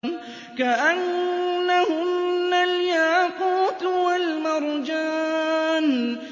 كَأَنَّهُنَّ الْيَاقُوتُ وَالْمَرْجَانُ